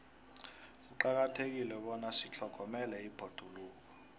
kuqakathekile bona sitlhogomele ibhoduluko